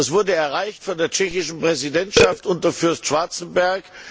Das wurde erreicht von der tschechischen Präsidentschaft unter Fürst Schwarzenberg.